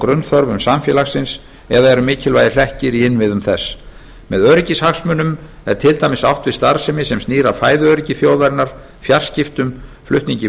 grunnþörfum samfélagsins eða eru mikilvægir hlekkir í innviðum þess með öryggishagsmunum er til dæmis átt við starfsemi sem snýr að fæðuöryggi þjóðarinnar fjarskiptum flutningi